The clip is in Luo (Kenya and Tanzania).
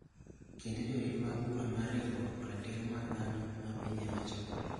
kendo Jorit mag Bura mar Riwruok ratiro mar dhano mar Pinje Mochokore,